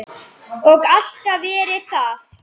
Og alltaf verið það.